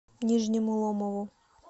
нижнему ломову